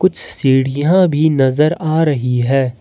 सीढ़ियां भी नजर आ रही है।